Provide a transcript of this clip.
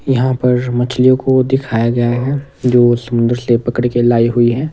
तरह तरह की बोट लगी हुई है।